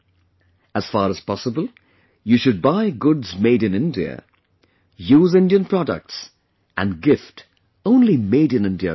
As far as possible, you should buy goods made in India, use Indian products and gift only Made in India goods